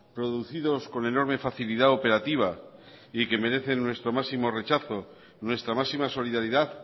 producidos con enorme facilidad operativa y que merecen nuestro máximo rechazo nuestra máxima solidaridad